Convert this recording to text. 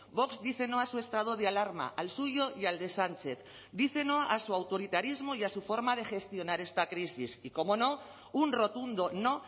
vox dice no a su estado de alarma al suyo y al de sánchez dice no a su autoritarismo y a su forma de gestionar esta crisis y cómo no un rotundo no